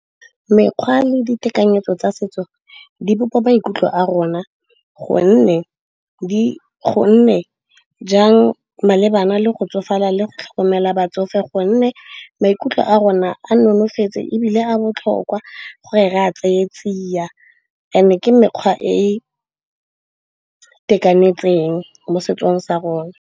Mekgwa le ditekanyetso tsa setso di bopa maikutlo a rona gonne jang malebana le go tsofala le go tlhokomela batsofe. Gonne maikutlo a rona a nonofeetse ebile a botlhokwa gore re a tseye tsia, and-e ke mekgwa e e itekanetseng mo setsong sa rona.